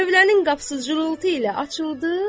tövlənin qapısı zılıltı ilə açıldı,